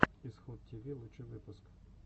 исход тиви лучший выпуск